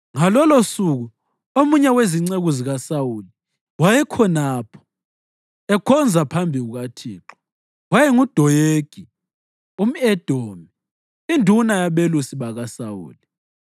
Ngalolosuku omunye wezinceku zikaSawuli wayekhonapho, ekhonza phambi kukaThixo; wayenguDoyegi umʼEdomi, induna yabelusi bakaSawuli.